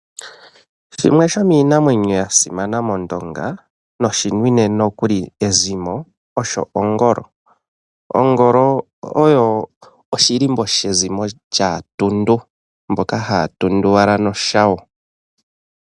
Shimwe shomiinamwenyo yasimana mOndonga, noshinwine nookuli ezimo, osho Ongolo. Ongolo oyo oshilimbo shAatundu, mboka ha ya tunduwala noshawo.